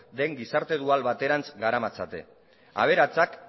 den gizarte dual baterantz garamatzate aberatsak